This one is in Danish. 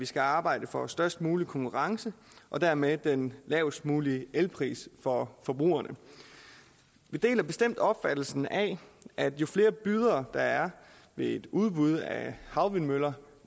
skal arbejde for størst mulig konkurrence og dermed den lavest mulige elpris for forbrugerne vi deler bestemt opfattelsen af at jo flere bydere der er ved et udbud af havvindmøller